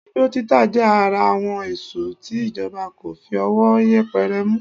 Igbó títà jẹ́ ara àwọn èsùn tí ìjọba kò fi ọwọ́ yẹpẹrẹ mú